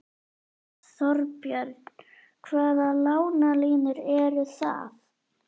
Þorbjörn: Hvaða lánalínur eru það?